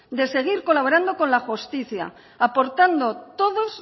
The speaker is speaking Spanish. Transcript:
de seguir colaborando con la justicia aportando todos